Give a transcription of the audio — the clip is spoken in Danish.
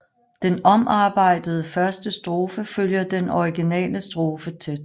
Den omarbejdede første strofe følger den originale strofe tæt